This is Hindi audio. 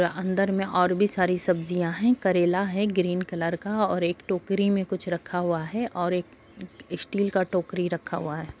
अंदर में और भी सारी सब्जियाँ है करेला है ग्रीन कलर का और एक टोकरी में कुछ रखा हुआ है और एक स्टील का टोकरी रखा हुआ है।